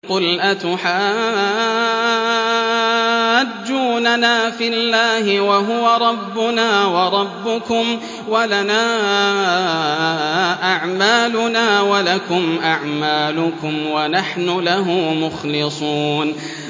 قُلْ أَتُحَاجُّونَنَا فِي اللَّهِ وَهُوَ رَبُّنَا وَرَبُّكُمْ وَلَنَا أَعْمَالُنَا وَلَكُمْ أَعْمَالُكُمْ وَنَحْنُ لَهُ مُخْلِصُونَ